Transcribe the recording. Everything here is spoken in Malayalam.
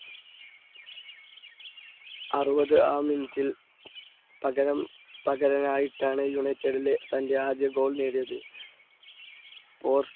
അറുപത് ആാം minute ൽ പകരം പകരനായിട്ടാണ് യുണൈറ്റഡിലെ തൻറെ ആദ്യ goal നേടിയത് പോർസ്